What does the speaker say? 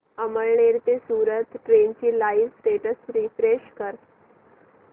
अमळनेर ते सूरत ट्रेन चे live status refresh कर